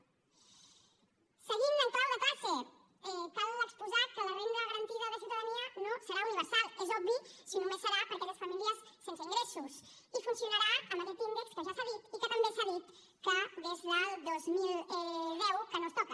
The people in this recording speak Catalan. seguint en clau de classe cal exposar que la renda garantida de ciutadania no serà universal és obvi si només serà per a aquelles famílies sense ingressos i funcionarà amb aquest índex que ja s’ha dit i que també s’ha dit que des del dos mil deu que no es toca